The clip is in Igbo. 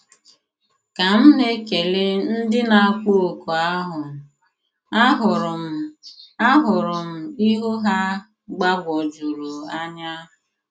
Ka m na-ekele ndị na-akpọ oku ahụ, ahụrụ m ahụrụ m ihu ha gbagwojuru anya.